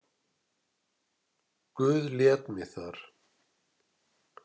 Guð lét mig þar.